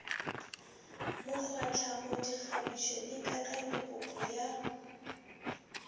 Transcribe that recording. mokgwatlhamo dikgabišo le kakanyopopo ya